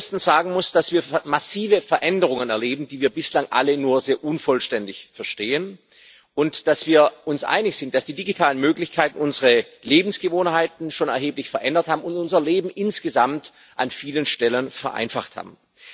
Erstens muss man sagen, dass wir massive Veränderungen erleben, die wir bislang alle nur sehr unvollständig verstehen, und dass wir uns einig sind, dass die digitalen Möglichkeiten unsere Lebensgewohnheiten schon erheblich verändert und unser Leben insgesamt an vielen Stellen vereinfacht haben.